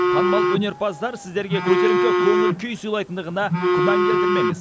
танымал өнерпаздар сіздерге көтеріңкі көңіл күй сыйлайтындығына күмән келтірмеңіз